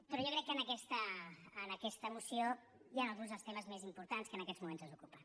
però jo crec que en aquesta moció hi han alguns dels temes més importants que en aquests moments ens ocupen